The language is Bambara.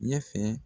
Ɲɛ fɛ